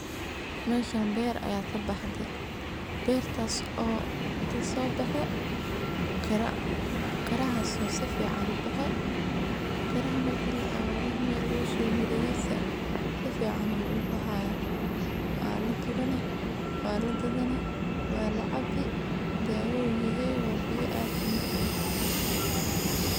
Meshan ber aya kabaxde, bertas o ah kasobexe qera, qerahas oo si fican, qeraha marki la aburo Mel lagu shobo mirahisa sifican ayu u baxaya walagurani ,walagadan, walacabi, dawa u yehe wa biya ad u macan.